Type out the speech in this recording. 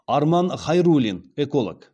арман хайруллин эколог